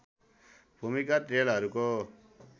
भूमिगत रेलहरूको